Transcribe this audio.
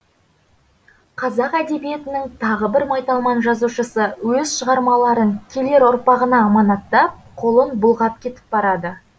қазақ әдебиетінің тағы бір майталман жазушысы өз шығармаларын келер ұрпағына аманаттап қолын бұлғап кетіп барады